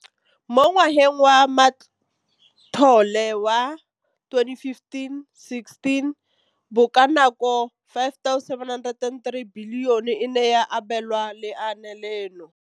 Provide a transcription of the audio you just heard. Mo ngwageng wa matlole wa 2015,16, bokanaka R5 703 bilione e ne ya abelwa lenaane leno.